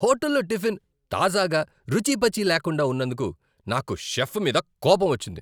హోటల్లో టిఫిన్ తాజాగా, రుచీపచీ లేకుండా ఉన్నందుకు నాకు షెఫ్ మీద కోపమొచ్చింది.